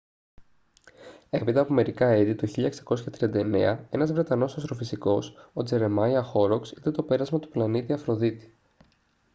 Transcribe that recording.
έπειτα από μερικά έτη το 1639 ένας βρετανός αστροφυσικός ο τζερεμάια χόροκς είδε το πέρασμα του πλανήτη αφροδίτη